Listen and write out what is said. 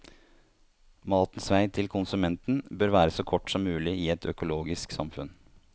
Matens vei til konsumenten bør være så kort som mulig i et økologisk samfunn.